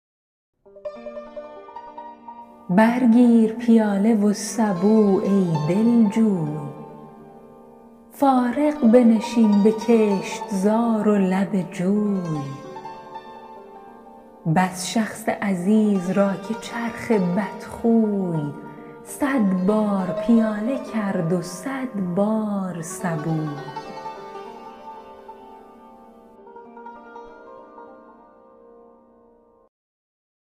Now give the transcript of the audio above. بر گیر پیاله و سبو ای دلجوی فارغ بنشین به کشتزار و لب جوی بس شخص عزیز را که چرخ بدخوی صد بار پیاله کرد و صد بار سبوی